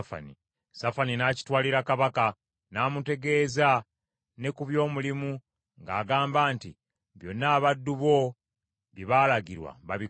Safani n’akitwalira kabaka, n’amutegeeza ne ku by’omulimu ng’agamba nti, “Byonna abaddu bo bye baalagirwa babikola.